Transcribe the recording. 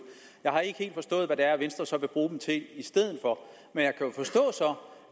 jeg har ikke helt forstået hvad det er venstre så vil bruge dem til i stedet for men